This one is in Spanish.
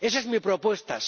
Esa es mi propuesta.